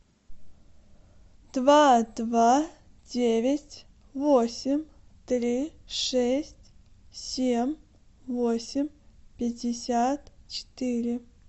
два два девять восемь три шесть семь восемь пятьдесят четыре